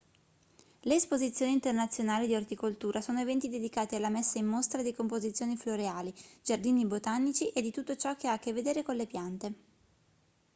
le esposizioni internazionali di orticoltura sono eventi dedicati alla messa in mostra di composizioni floreali giardini botanici e di tutto ciò che ha a che vedere con le piante